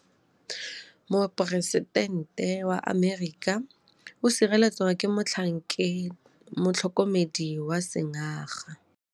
Poresitêntê wa Amerika o sireletswa ke motlhokomedi wa sengaga.